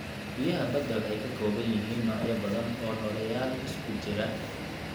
Biyaha badda waxay ka kooban yihiin noocyo badan oo nooleyaal isku jira.